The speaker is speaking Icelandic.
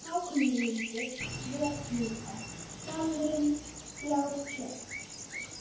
Hákonarlundur, Þverhnjúkar, Hjálmurinn, Fjártjörn